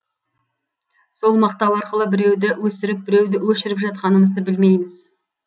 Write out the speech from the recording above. сол мақтау арқылы біреуді өсіріп біреуді өшіріп жатқанымызды білмейміз